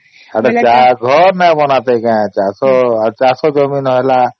ଅଟେ ଯା ଘର ନାଇ ବନଟେ ଯା ଆଉ ଚାଷ ଜମି ନାଇ ହେଲା